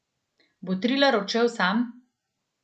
Bo Trilar odšel sam?